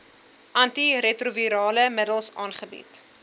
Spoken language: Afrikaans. antiretrovirale middels aangebied